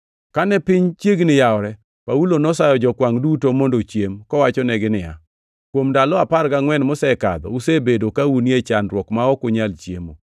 Kane piny chiegni yawore, Paulo nosayo jokwangʼ duto mondo ochiem, kowachonegi niya, “Kuom ndalo apar gangʼwen mosekadho, usebedo ka unie chandruok ma ok nunyal chiemo.